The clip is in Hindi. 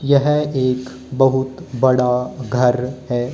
यह एक बहुत बड़ा घर है।